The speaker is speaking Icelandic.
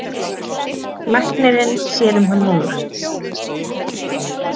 Læknirinn sér um hann núna.